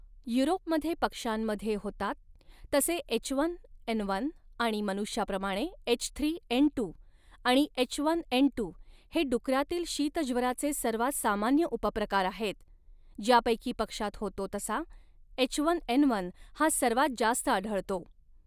युरोपमध्ये, पक्ष्यांमध्ये होतात तसे एचवनएनवन आणि मनुष्याप्रमाणे एचथ्रीएनटू आणि एचवनएनटू हे डुकरांतील शीतज्वराचे सर्वांत सामान्य उपप्रकार आहेत, ज्यापैकी पक्ष्यांत होतो तसा, एचवनएनवन हा सर्वांत जास्त आढळतो.